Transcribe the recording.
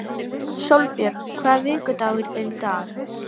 Sólbjört, hvaða vikudagur er í dag?